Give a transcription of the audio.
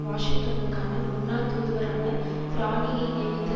வாஷிங்டன்னுக்கான முன்னாள் தூதுவரான துரானியை நியமித்த